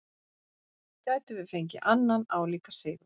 Gætum við fengið annan álíka sigur?